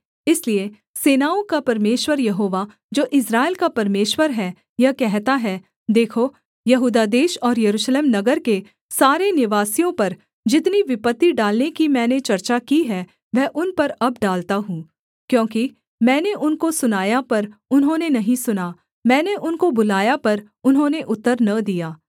इसलिए सेनाओं का परमेश्वर यहोवा जो इस्राएल का परमेश्वर है यह कहता है देखो यहूदा देश और यरूशलेम नगर के सारे निवासियों पर जितनी विपत्ति डालने की मैंने चर्चा की है वह उन पर अब डालता हूँ क्योंकि मैंने उनको सुनाया पर उन्होंने नहीं सुना मैंने उनको बुलाया पर उन्होंने उत्तर न दिया